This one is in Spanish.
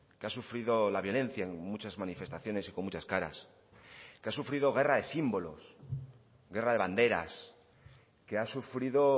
que ha sufrido la violencia en muchas manifestaciones y con muchas caras que ha sufrido guerra de símbolos guerra de banderas que ha sufrido